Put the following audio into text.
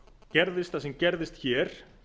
gerðist það sem gerðist hér